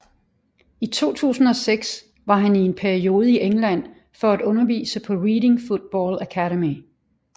I 2006 var han i en periode i England for at undervise på Reading Football Academy